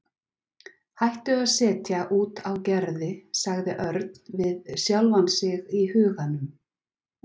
Hættu að setja út á Gerði sagði Örn við sjálfan sig í huganum.